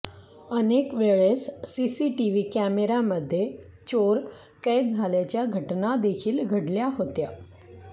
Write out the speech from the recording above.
अनेकवेळेस CCTV कॅमेऱ्यामध्ये चोर कैद झाल्याच्या घटना देखील घडल्या होत्या